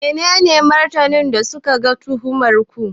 Menene martaninsu ga tuhumar ku?